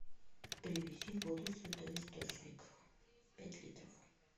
привези воду святой источник пять литров